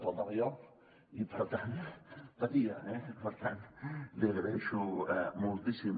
faltava jo i per tant patia eh per tant l’hi agraeixo moltíssim